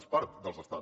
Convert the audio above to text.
és part dels estats